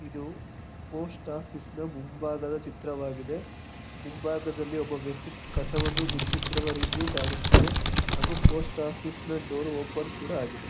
ಇದು ಪೋಸ್ಟ್ ಓಫೀಸ್ನ ನ ಮುಂಬಾಗದ ಚಿತ್ರವಾಗಿದೆ. ಮುಂಭಾಗದಲ್ಲಿ ಒಬ್ಬ ವ್ಯಕ್ತಿ ಕಸವನ್ನು ಗೂಡುಸುತ್ತಿರುವ ರೀತಿಯು ಕಾಣಿಸುತ್ತಿದೆ. ಹಾಗು ಪೋಸ್ಟ್ ಓಫೀಸ್ನ ನ ಡೋರ್ ಓಪನ್ ಕೂಡ ಆಗಿದೆ.